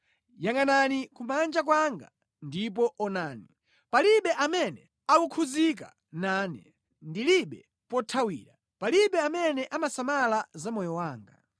Yangʼanani kumanja kwanga ndipo onani; palibe amene akukhudzika nane. Ndilibe pothawira; palibe amene amasamala za moyo wanga.